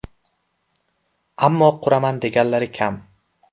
Ammo quraman deganlari kam.